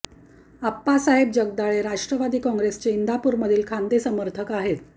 आप्पासाहेब जगदाळे राष्ट्रवादी काँग्रेसचे इंदापूर मधील खांदे समर्थक आहेत